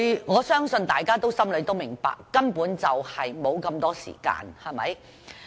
我相信大家心中明白，他們根本沒有這麼多時間。